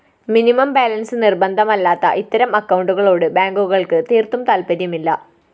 minimum balance നിര്‍ബന്ധമല്ലാത്ത ഇത്തരം അക്കൗണ്ടുകളോട് ബാങ്കുകള്‍ക്ക് തീര്‍ത്തും താല്‍പര്യമില്ല